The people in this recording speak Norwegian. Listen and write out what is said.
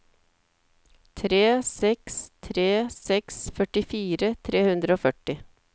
tre seks tre seks førtifire tre hundre og førti